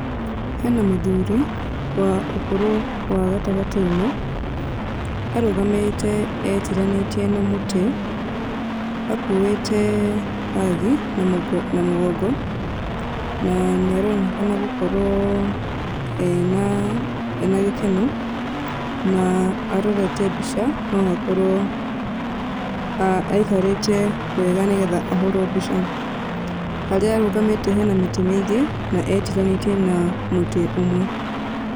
Hena mũthuri wa ũkũrũ wa gatagatĩ-inĩ. Arũgamĩĩte etiranĩtie na mũtĩ akuĩte mbagi na mũgongo na nĩ aronekana gũkorwo ena gĩkeno na arorete mbica no akorwo aikarĩte wega nĩgetha ahũrwo mbica. Harĩa arũgamĩte hena mĩtĩ mĩingĩ na etiranĩtie na mũtĩ ũmwe.